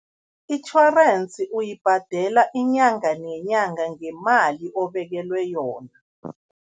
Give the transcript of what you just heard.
Itjhorensi uyibhadela inyanga nenyanga ngemali obekelwe yona.